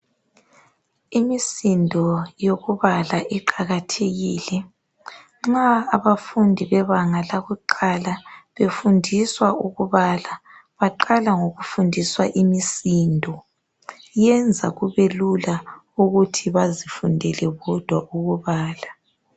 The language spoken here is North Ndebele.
Imisindo yokubala iqakathekile nxa abafundi bebanga lakuqala befundiiswa ukubala baqala ngokufundiswa imisindo. Yenza kubelula ukuthi bazifundele bodwa ukubala.